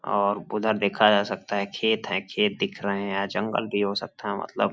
और उधर देखा जा सकता है खेत हैं खेत दिख रहे हैं जंगल गी हो सकता है मतलब।